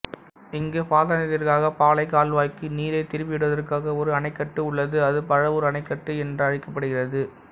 இங்கு பாசனத்திற்காக பாளைக் கால்வாய்க்கு நீரை திருப்பிவிடுவதற்காக ஒரு அணைக்கட்டு உள்ளது அது பழவூர் அணைக்கட்டு என்றழைக்கப்படுகிறது